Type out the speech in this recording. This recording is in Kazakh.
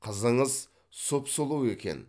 қызыңыз сұп сұлу екен